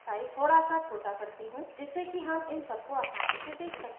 जिससे कि हम इन सबको आसानी से देख सकें